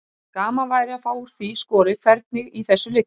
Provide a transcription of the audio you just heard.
Gaman væri að fá úr því skorið hvernig í þessu liggur.